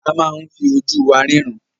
A máa ń fi ojú wa ríran.